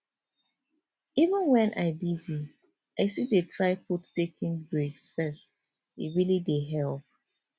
even when i busy i still dey try put taking breaks first e really dey help